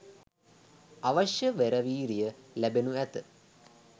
අවශ්‍ය වෙර වීරිය ලැබෙනු ඇත.